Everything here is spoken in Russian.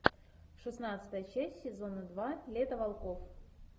шестнадцатая часть сезона два лето волков